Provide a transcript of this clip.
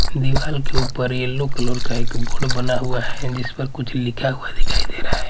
दिवाल के ऊपर यलो कलर का एक बोर्ड बना हुआ हैं जिस पर कुछ लिखा हुआ दिखाई दे रहा हैं।